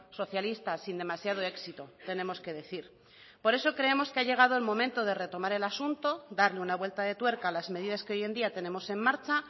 socialista sin demasiado éxito tenemos que decir por eso creemos que ha llegado el momento de retomar el asunto darle una vuelta de tuerca a las medidas que hoy en día tenemos en marcha